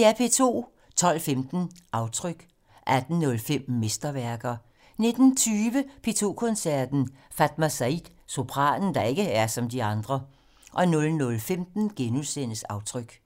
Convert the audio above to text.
12:15: Aftryk 18:05: Mesterværker 19:20: P2 Koncerten - Fatma Said - sopranen, der ikke er som de andre 00:15: Aftryk *